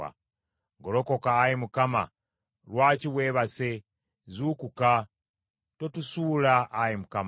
Golokoka Ayi Mukama, lwaki weebase? Zuukuka! Totusuula Ayi Mukama!